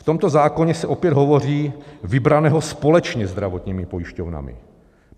V tomto zákoně se opět hovoří "vybraného společně zdravotními pojišťovnami".